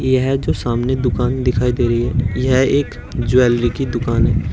यह जो सामने दुकान दिखाई दे रही है यह एक ज्वेलरी की दुकान है।